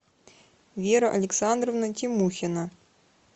вера александровна тимухина